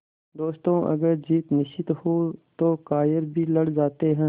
दोस्तों अगर जीत निश्चित हो तो कायर भी लड़ जाते हैं